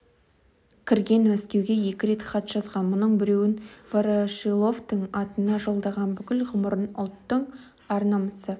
кірген мәскеуге екі рет хат жазған мұның біреуін ворошиловтың атына жолдаған бүкіл ғұмырын ұлттың ар-намысы